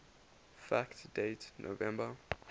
fact date november